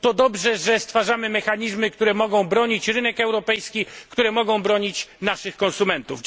To dobrze, że stwarzamy mechanizmy, które mogą bronić rynku europejskiego, które mogą bronić naszych konsumentów.